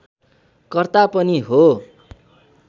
कर्ता पनि हो